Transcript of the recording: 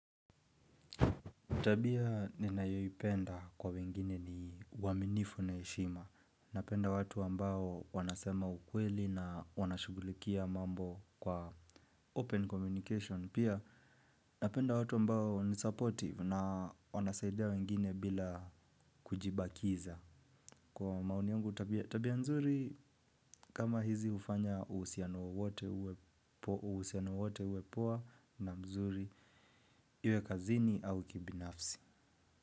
Tabia ninayoipenda kwa wengine ni uaminifu na heshima. Napenda watu ambao wanasema ukweli na wanashughulikia mambo kwa open communication. Pia napenda watu ambao ni supportive na wanasaidia wengine bila kujibakiza. Kwa maoni yangu tabia, tabia mzuri kama hizi hufanya uhusiano wowote uwe poa na mzuri iwe kazini au kibinafsi.